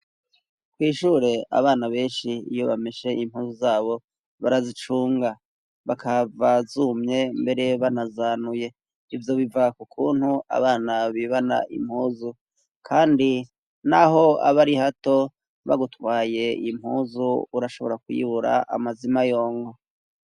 kwishure abana benshi iyo bamese impuzu zabo barazicunga bakava zumye mbere banazanuye ibyo biva kukuntu abana bibana impuzu kandi n'aho abari hato bagutwaye iyimpuzu urashobora kuyibura amazima yongo